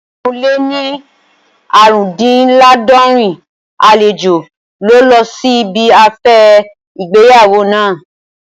Ẹgbẹ̀rún lé ní aarundinlaadorin àlejò ló lọ sí ibi afẹ́ ìgbéyàwó naa